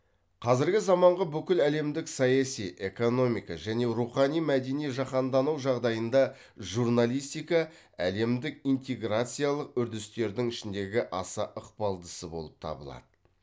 қазіргі заманғы бүкіл әлемдік саяси экономика және рухани мәдени жаһандану жағдайында журналистика әлемдік интеграциялық үрдістердің ішіндегі аса ықпалдысы болып табылады